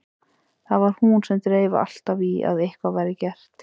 Það var hún sem dreif alltaf í að eitthvað væri gert.